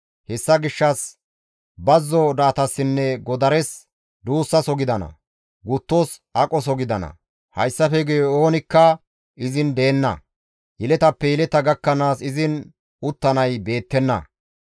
«Hessa gishshas bazzo do7atassinne godares duussaso gidana; guttos aqoso gidana; hayssafe guye oonikka izin deenna; yeletappe yeleta gakkanaas izin uttanay beettenna.